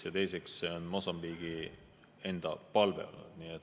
Ja teiseks on see Mosambiigi enda palve olnud.